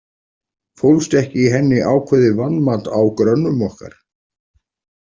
Fólst ekki í henni ákveðið vanmat á grönnum okkar?